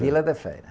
Vila da Feira.